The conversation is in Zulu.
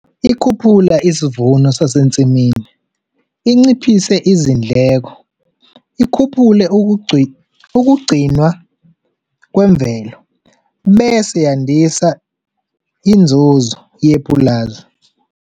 Ikhuphula isivuno sasensimini, inciphise izindleko, ikhuphule ukugcinwa kwemvelo, bese yandisa inzuzo yepulazi.